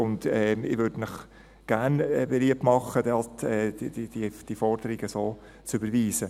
Ich möchte Ihnen gerne beliebt machen, dort die Forderung so zu überweisen.